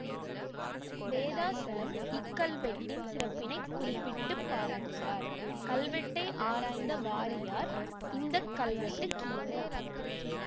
வேதாசலம் இக்கல்வெட்டின் சிறப்பினை குறிப்பிட்டு பாராட்டுகிறார் கல்வெட்டை ஆராய்ந்த வாரியார் இந்த கல்வெட்டு கிமு